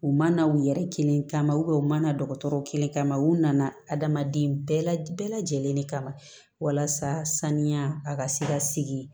U ma na u yɛrɛ kelen kama u mana dɔgɔtɔrɔw kelen kama u nana adamaden bɛɛ la bɛɛ lajɛlen de kama walasa saniya a ka se ka sigi